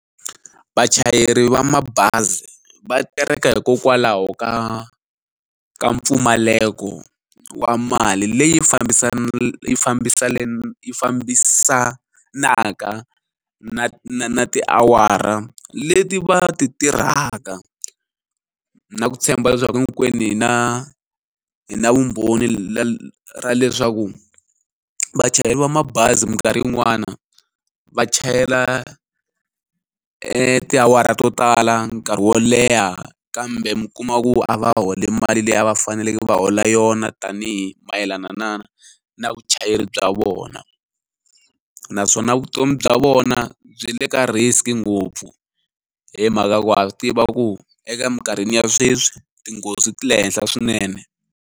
Vachayeri va mabazi va tereka hikokwalaho ka ka mpfumaleko wa mali leyi yi fambisanaka na na na tiawara leti va ti tirhaka na ku tshemba leswaku hinkwenu hi na hi na vumbhoni na ra leswaku vachayeri va mabazi minkarhi yin'wana va chayela tiawara to tala nkarhi wo leha kambe mi kuma ku a va holi mali leyi a va faneleke va hola yona tanihi mayelana na na vuchayeri bya vona naswona vutomi bya vona byi le ka risk ngopfu hi mhaka ya ku ha swi tiva ku eka eminkarhini ya sweswi tinghozi ti le henhla swinene.